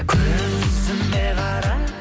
көзіме қара